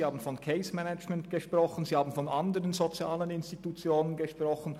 Der Erziehungsdirektor hat von Case Management und von anderen sozialen Institutionen gesprochen.